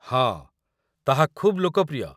ହଁ, ତାହା ଖୁବ୍ ଲୋକପ୍ରିୟ।